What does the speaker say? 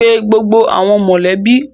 Pe gbogbo awọn mọlẹbi!